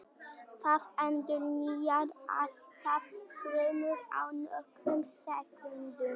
Það endurnýjar allar frumur á nokkrum sekúndum.